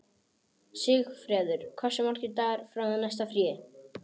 Sigfreður, hversu margir dagar fram að næsta fríi?